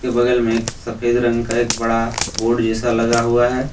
बगल में एक सफेद रंग का एक बड़ा बोर्ड जैसा लगा हुआ है।